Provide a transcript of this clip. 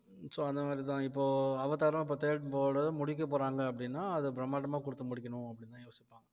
so அந்த மாதிரிதான் இப்போ அவதாரும் இப்போ third part முடிக்க போறாங்க அப்படின்னா அதை பிரம்மாண்டமா கொடுத்து முடிக்கணும் அப்படின்னுதான் யோசிப்பாங்க